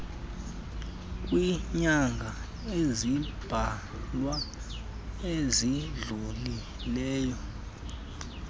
kwiinyanga ezimbalwa ezidlulileyo